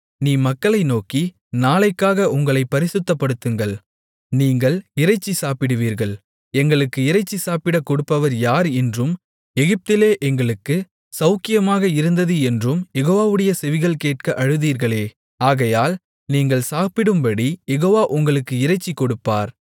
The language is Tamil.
நீ மக்களை நோக்கி நாளைக்காக உங்களைப் பரிசுத்தப்படுத்துங்கள் நீங்கள் இறைச்சி சாப்பிடுவீர்கள் எங்களுக்கு இறைச்சி சாப்பிடக் கொடுப்பவர் யார் என்றும் எகிப்திலே எங்களுக்குச் சௌக்கியமாக இருந்தது என்றும் யெகோவாவுடைய செவிகள் கேட்க அழுதீர்களே ஆகையால் நீங்கள் சாப்பிடும்படி யெகோவா உங்களுக்கு இறைச்சி கொடுப்பார்